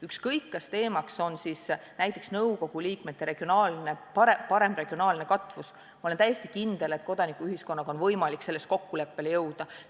Ükskõik, kas teemaks on näiteks nõukogu liikmete parem regionaalne katvus või midagi muud, ma olen täiesti kindel, et kodanikuühiskonnaga on võimalik selles kokkuleppele jõuda.